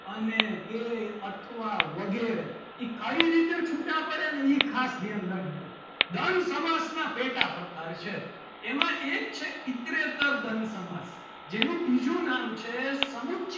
અને બે અથવા વગેરે એ કઈ રીતે છૂટા પડે ને એ ખાસ ધ્યાન રાખજો. દ્વંદ સમાસના પેટા પ્રકાર છે. એમાં એક છે ઇતરેતર દ્વંદ સમાસ જેનું બીજું નામ છે. સમુચ્ય,